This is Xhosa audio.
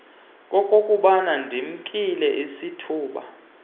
kokuba ndimnike isithuba